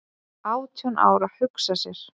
"""Átján ára, hugsa sér!"""